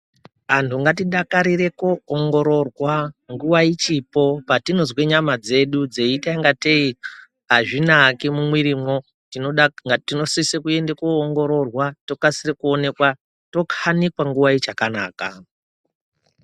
Antu ngatidakarire kunoongororwa nguva ichipo patinonzwe dzeiita kungatei azvinaki mumwirimo tinosise enda kunoongororwa tokasire onekwa tokanikwa nguva ichakanaka.